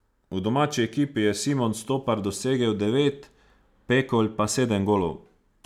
V domači ekipi je Simon Stopar dosegel devet, Pekolj pa sedem golov.